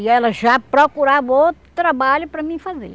E ela já procurava outro trabalho para mim fazer.